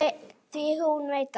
Því hún veit það.